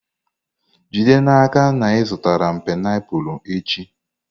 Jide n'aka na ị zụrụ m painiapulu echi!